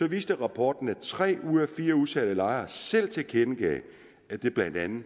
viste rapporten at tre ud af fire udsatte lejere selv tilkendegav at det blandt andet